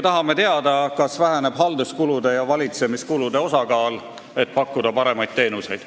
Tahame teada, kas halduskulude ja valitsemiskulude osakaal väheneb, et saaks pakkuda paremaid teenuseid.